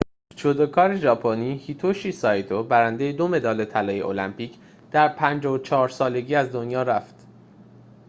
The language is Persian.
جودوکار ژاپنی هیتوشی سایتو برنده دو مدال طلای المپیک در ۵۴ سالگی از دنیا رفته است